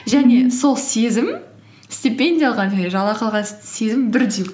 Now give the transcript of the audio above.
және сол сезім стипендия алған және жалақы алған сезім бірдей